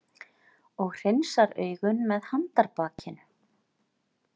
Og hreinsar augun með handarbakinu.